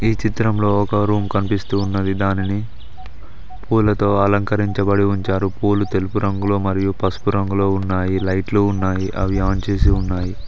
ఈ చిత్రంలో ఒక రూమ్ కనిపిస్తూ ఉన్నది దానిని పూలతో అలంకరించబడి ఉంచారు పూలు తెలుపు రంగులో మరియు పసుపు రంగులో ఉన్నాయి లైట్లు ఉన్నాయి అవి ఆన్ చేసి ఉన్నాయి.